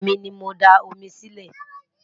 èmi ní mọ dá omi Si ile